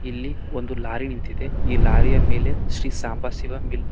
ಇಲ್ಲಿ ಒಂದು ಲಾರಿ ನಿಂತಿದೆ ಈ ಲಾರಿ ಯ ಮೇಲೆ ಶ್ರೀ ಶಾಂಬಶಿವ ಮಿಲ್--